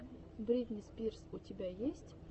бритни спирс у тебя есть